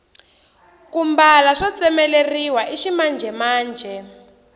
ku mbala swo tsemeleriwa i ximanjhemanjhe